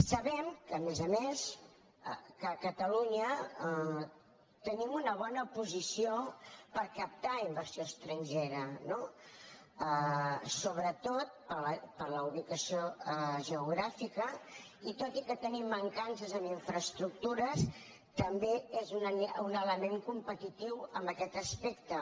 sabem que a més a més a catalunya tenim una bo·na posició per captar inversió estrangera no sobretot per la ubicació geogràfica i tot i que tenim mancan·ces en infraestructures també és un element competi·tiu en aquest aspecte